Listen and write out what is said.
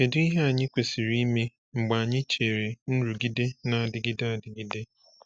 Kedu ihe anyị kwesịrị ime mgbe anyị chere nrụgide na-adịgide adịgide?